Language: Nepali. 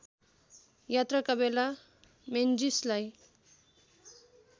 यात्राका बेला मेन्जीसलाई